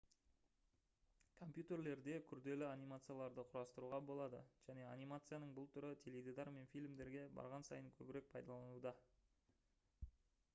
компьютерлерде күрделі анимацияларды құрастыруға болады және анимацияның бұл түрі теледидар мен фильмдерде барған сайын көбірек пайдаланылуда